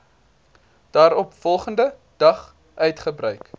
daaropvolgende dag uitgereik